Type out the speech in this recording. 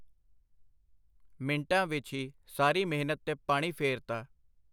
ਮਿੰਟਾਂ ਵਿੱਚ ਹੀ ਸਾਰੀ ਮਿਹਨਤ ਤੇ ਪਾਣੀ ਫੇਰ ਤਾ.